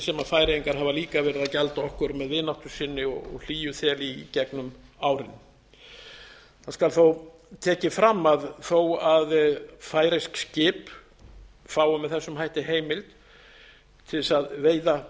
færeyingar hafa líka verið að gjalda okkur með vináttu sinni og hlýjuþeli í gegnum árin það skal þó tekið fram að þó færeysk skip fái með þessum hætti heimild til þess að veiða